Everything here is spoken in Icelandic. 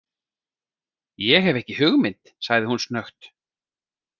Ég hef ekki hugmynd, sagði hún snöggt.